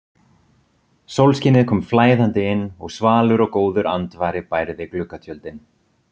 Sólskinið kom flæðandi inn og svalur og góður andvari bærði gluggatjöldin.